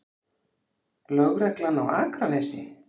Lögreglan á Akranesi?